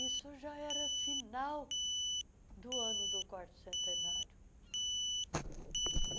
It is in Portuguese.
Isso já era final do ano do quarto centenário.